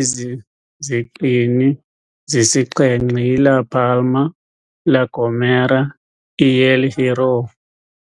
Ezi ziqini zisixhenxe yi-La Palma, La Gomera, El Hierro,